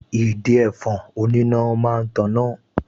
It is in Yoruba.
Ìdin ẹ̀fọn oníná máa ń taná